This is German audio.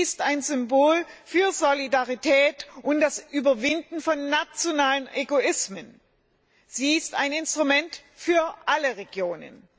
Sie ist ein Symbol für Solidarität und das Überwinden von nationalen Egoismen. Sie ist ein Instrument für alle Regionen.